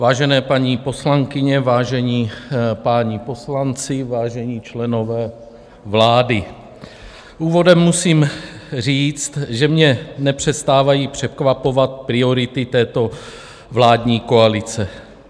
Vážené paní poslankyně, vážení páni poslanci, vážení členové vlády, úvodem musím říct, že mě nepřestávají překvapovat priority této vládní koalice.